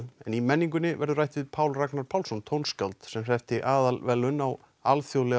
í menningunni verður rætt við Pál Ragnar Pálsson tónskáld sem hreppti aðalverðlaun á alþjóðlega